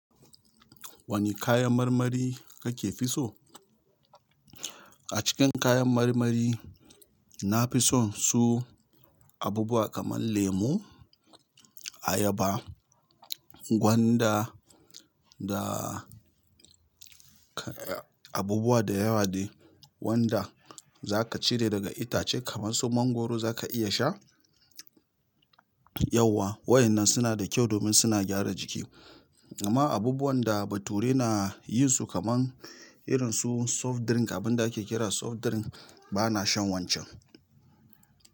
Wane kayan marmari kake fi so? A cikin kayan marmari nafi son su abubuwa kamar lemu ayaba gwanda da abubuwa da yawa de wanda za ka cire daga itace kamar su mangwaro za ka iya sha yauwa. Waɗannan suna da kyau domin suna gyara jiki. Amma abubuwan da Bature nayin su kamar irin su soft drink abinda ake kira da soft drink bana shan wadan can.